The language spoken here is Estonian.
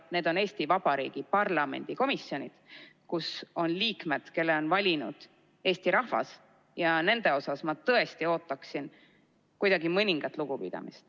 Need on Eesti Vabariigi parlamendi komisjonid, kus on liikmed, kelle on valinud Eesti rahvas, ja nende suhtes ma tõesti ootaksin mõningast lugupidamist.